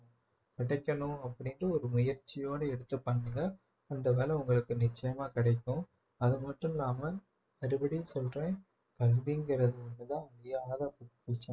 கிடைக்கணும் அப்படின்ற ஒரு முயற்சியோடு எடுத்து பண்ணுங்க அந்த வேலை உங்களுக்கு நிச்சயமா கிடைக்கும் அது மட்டும் இல்லாம மறுபடியும் சொல்றேன் கல்விங்கிறது ஒண்ணுதான்